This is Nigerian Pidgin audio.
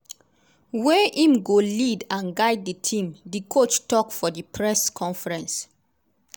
wey im go lead and guide di team” di coach tok for di press conference.